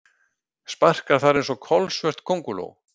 Sparkar þar einsog kolsvört könguló.